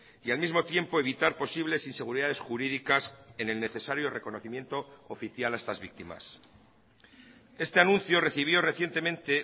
y al mismo tiempo evitar posibles inseguridades jurídicas en el necesario reconocimiento oficial a estas víctimas este anuncio recibió recientemente